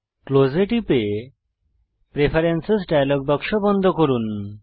close এ টিপে preferences dialogue box বন্ধ করুন